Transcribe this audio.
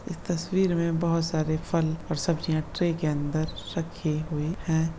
इस तस्वीर में बहुत सारे फल और सब्जियां ट्रे के अंदर रखी हुई है।